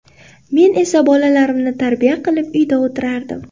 Men esa bolalarimni tarbiya qilib uyda o‘tirardim.